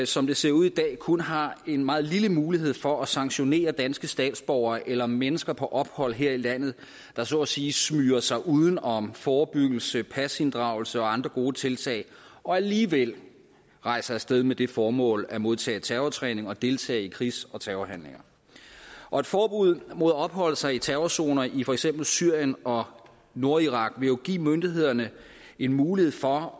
som det ser ud i dag kun har en meget lille mulighed for at sanktionere danske statsborgere eller mennesker på ophold her i landet der så at sige smyger sig uden om forebyggelse pasinddragelse og andre gode tiltag og alligevel rejser af sted med det formål at modtage terrortræning og deltage i krigs og terrorhandlinger og et forbud mod at opholde sig i terrorzoner i for eksempel syrien og nordirak ville jo give myndighederne en mulighed for